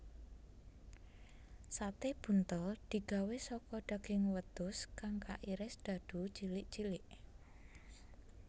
Sate buntel digawé saka daging wedhus kang kairis dadu cilik cilik